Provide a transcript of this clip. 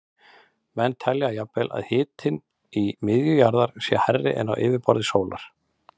Menn telja jafnvel að hitinn í miðju jarðar sé hærri en á yfirborði sólarinnar.